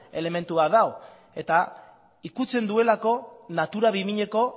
elementu bat dago eta ukitzen duelako natura bi milako